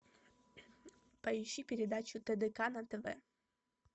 поищи передачу тдк на тв